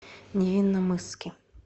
невинномысске